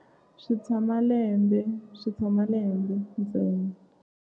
Swi tshama lembe swi tshama lembe ntsena.